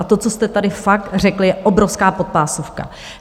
A to, co jste tady fakt řekl, je obrovská podpásovka.